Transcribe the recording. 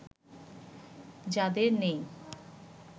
যাদের নেই